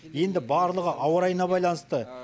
енді барлығы ауа райына байланысты